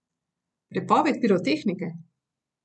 Prepoved pirotehnike?